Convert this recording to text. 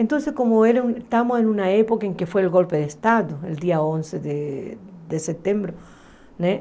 Então, como estávamos em uma época em que foi o golpe de Estado, no dia onze de de setembro, né?